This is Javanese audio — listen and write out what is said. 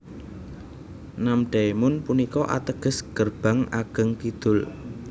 Namdaemun punika ateges Gerbang Ageng Kidul